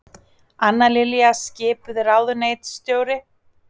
Anna Lilja skipuð ráðuneytisstjóri